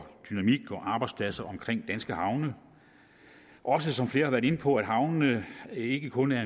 arbejdspladser omkring danske havne og også som flere har været inde på at havnene ikke kun er